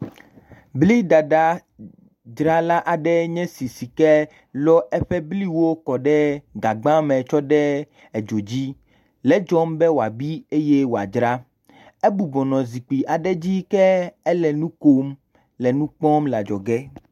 Bliɖaɖadzrala aɖe enye si ke elɔ eƒe bliwo kɔ ɖe gagbe me kɔ ɖo dzo dzi le edzɔm be woabi eye wòadzra. Egbugbɔ nɔ zikpui aɖe dzi ke ele nu kom le nu kpɔm le adzɔge.